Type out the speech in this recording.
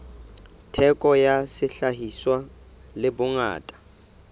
theko ya sehlahiswa le bongata